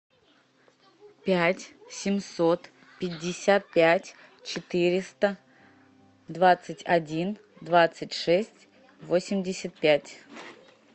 пять семьсот пятьдесят пять четыреста двадцать один двадцать шесть восемьдесят пять